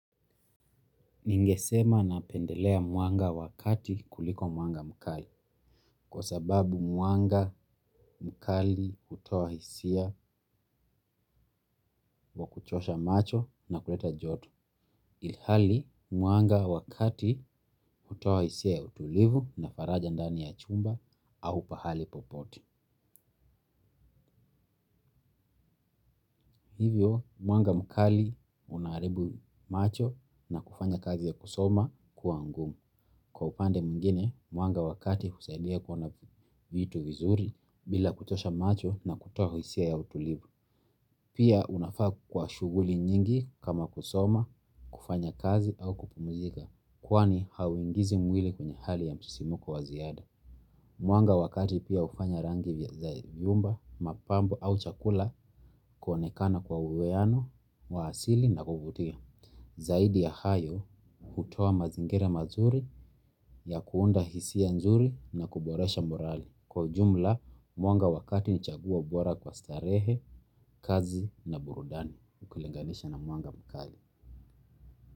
Ningesema napendelea mwanga wa kati kuliko mwanga mkali kwa sababu mwanga mkali hutoa hisia wa kuchosha macho na kuleta joto. Ilhali muanga wakati hutoa hisia ya utulivu na faraja ndani ya chumba au pahali popote. Hivyo mwanga mkali unaharibu macho na kufanya kazi ya kusoma kuwa ngumu. Kwa upande mwingine, mwanga wa kati husaidia kuona vitu vizuri bila kuchosha macho na kutoa hisia ya utulivu. Pia unafaa kwa shughuli nyingi kama kusoma, kufanya kazi au kupumzika, kwani hauingizi mwili kwenye hali ya msisimko wa ziada. Mwanga wa kati pia hufanya rangi ya nyumba mapambo ama chakula kuonekana kwa uwiano wa asili na kuvutia. Zaidi ya hayo, hutoa mazingira mazuri ya kuunda hisia nzuri na kuboresha morali. Kwa ujumla, mwanga wa kati ni chaguo bora kwa starehe, kazi na burudani. Ukilinganisha na mwanga mkali.